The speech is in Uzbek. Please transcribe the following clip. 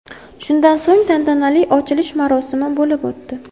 Shundan so‘ng tantanali ochilish marosimi bo‘lib o‘tdi.